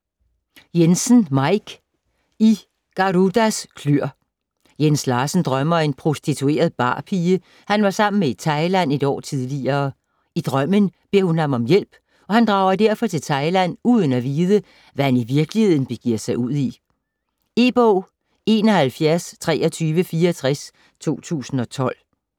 Jensen, Maik: I Garudas kløer Jens Larsen drømmer om en prostitueret barpige, han var sammen med i Thailand et år tidligere. I drømmen beder hun ham om hjælp, og han drager derfor til Thailand uden at vide, hvad han i virkeligheden begiver sig ud i. E-bog 712364 2012.